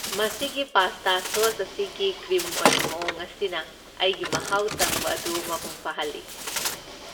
ꯃꯁꯤꯒꯤ pasta sauce ꯑꯁꯤꯒꯤ cream ꯑꯣꯏꯕ ꯃꯑꯣꯡ ꯑꯁꯤꯅ ꯑꯩꯒꯤ ꯃꯍꯥꯎ ꯇꯪꯕ ꯑꯗꯨ ꯃꯄꯨꯡ ꯐꯥꯍꯜꯂꯤ ꯫